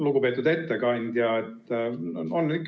Lugupeetud ettekandja!